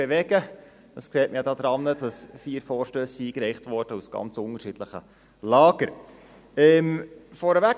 Dies sieht man daran, dass vier Vorstösse aus ganz unterschiedlichen Lagern eingereicht worden sind.